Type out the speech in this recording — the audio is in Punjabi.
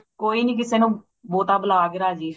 ਕੋਈ ਨਹੀਂ ਕਿਸੀ ਨੂੰ ਬਹੁਤਾ ਬੁਲਾ ਕੇ ਰਾਜੀ